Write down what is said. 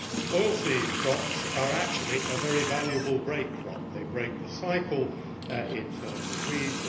Oilseed crops are actually a very valuable break crop they break the cycle in terms of weeds